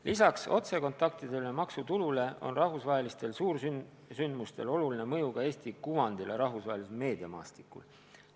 Lisaks otsekontaktidele ja maksutulule on rahvusvahelistel suursündmustel oluline mõju ka Eesti kuvandile rahvusvahelisel meediamaastikul.